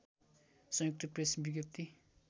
संयुक्त प्रेस विज्ञप्ति